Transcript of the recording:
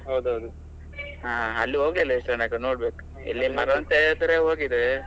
ಹೌದೌದು ಹ ಅಲ್ಲಿ ಹೋಗ್ಲಿಲ್ಲಾ ಇಷ್ಟರ ತನಕ ನೋಡ್ಬೇಕು, ಇಲ್ಲಿ ಮರವಂತೆ ಆದ್ರೆ ಹೋಗಿದ್ದೇವೆ.